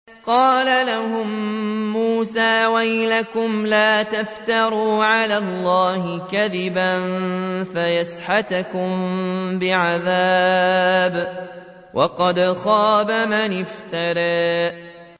قَالَ لَهُم مُّوسَىٰ وَيْلَكُمْ لَا تَفْتَرُوا عَلَى اللَّهِ كَذِبًا فَيُسْحِتَكُم بِعَذَابٍ ۖ وَقَدْ خَابَ مَنِ افْتَرَىٰ